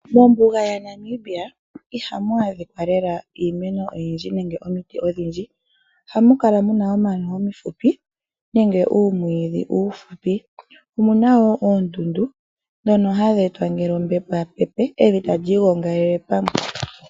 Mombuga yaNamibia ihamu adhika lela iimeno oyindji nenge omiti odhindji, ohamu kala muna omano omifupi nenge uumwiidhi uufupi, omuna woo oondundu ndhono hadhi etwa ngele ombepo yapepe evi talii gongele pamwe.